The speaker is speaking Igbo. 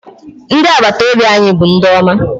Ndị agbataobi anyị bụ ndị ọma.